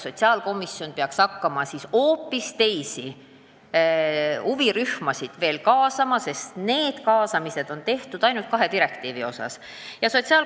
Sotsiaalkomisjon peaks siis kaasama hoopis teisi huvirühmasid, sest senised kaasamised on tehtud ainult direktiivi kaht artiklit silmas pidades.